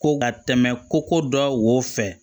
Ko ka tɛmɛ koko dɔ wo fɛ